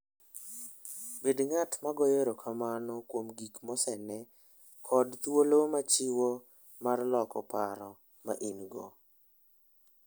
Bed ng'at ma goyo erokamano kuom gik mosene kod thuolo mochiwo mar loko paro ma in-go.